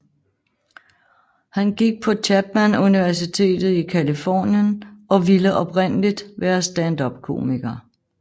Han gik han på Chapman Universitet i Californien og ville oprindeligt være standupkomiker